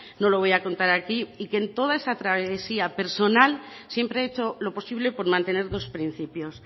no lo voy a contar aquí y que en toda esa travesía personal siempre he hecho lo posible por mantener dos principios